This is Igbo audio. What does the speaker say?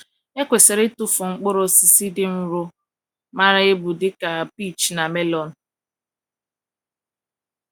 E kwesịrị ịtụfu mkpụrụ osisi dị nro mara ebu dị ka peach na melon.